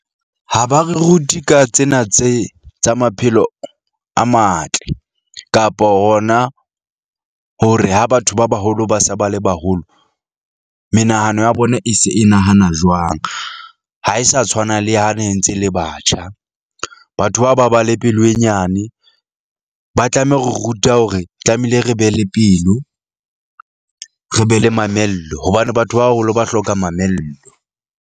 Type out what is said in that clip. Ha ba re rute ka tsena tse tsa maphelo a matle kapo hona hore ha batho ba baholo ba se ba le baholo, menahano ya bona e se e nahana jwang. Ha e sa tshwana le ha ne ntse le batjha. Batho bao ba ba le pelo e nyane, ba tlameha ho re ruta hore tlamehile re be le pelo, re be le mamello hobane batho ba baholo ba hloka mamello.